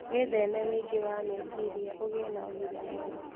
Wĩtheme wĩingĩ wa meciria ũgĩe na ũgima mwega